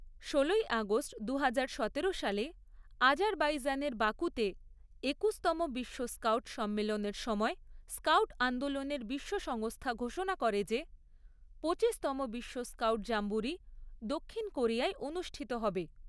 ষোলোই আগস্ট দুহাজার সতেরো সালে আজারবাইজানের বাকুতে একুশতম বিশ্ব স্কাউট সম্মেলনের সময় স্কাউট আন্দোলনের বিশ্ব সংস্থা ঘোষণা করে যে পঁচিশতম বিশ্ব স্কাউট জাম্বুরি দক্ষিণ কোরিয়ায় অনুষ্ঠিত হবে।